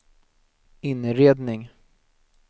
inredning